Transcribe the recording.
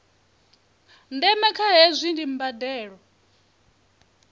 ndeme kha hezwi ndi mbandelo